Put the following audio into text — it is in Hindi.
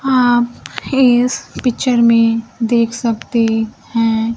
आप इस पिक्चर में देख सकते हैं।